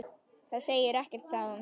Það segir ekkert sagði hún.